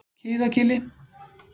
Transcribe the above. Kiðagili